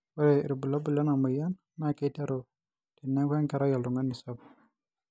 ore irbulabol lena moyian naa keiteru teneeku enkerai oltungani sapuk